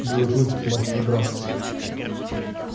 белый клык мастер драться